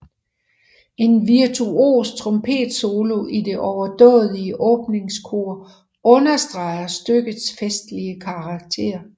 En virtuos trompetsolo i det overdådige åbningskor understreger stykkets festlige karakter